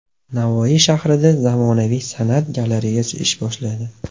Navoiy shahrida zamonaviy San’at galereyasi ish boshladi.